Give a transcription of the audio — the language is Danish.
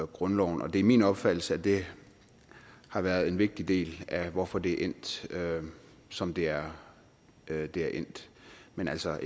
grundloven og det er min opfattelse at det har været en vigtig del af hvorfor det er endt som det er det er endt men altså